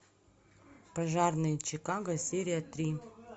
пожарные чикаго серия три